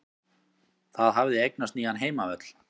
Það hafði eignast nýjan heimavöll.